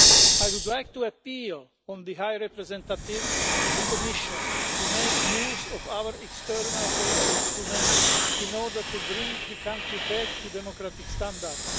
I would like to appeal to the High Representative and the Commission to make use of our external policy instruments in order to bring the country back to democratic standards.